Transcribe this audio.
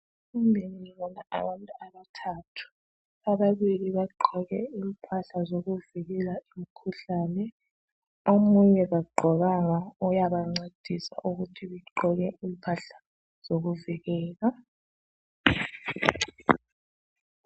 Ngibona abantu abathathu, ababili bagqoke impahla zokuvikela imkhuhlane omunye kagqokanga uyabancedisa ukuthi begqoke impahla zokuvikela